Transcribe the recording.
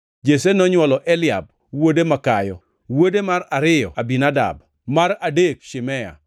Jesse nonywolo Eliab, wuode makayo; wuode mar ariyo Abinadab, mar adek Shimea,